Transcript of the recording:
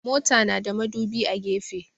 Mota na da madubi a gefe.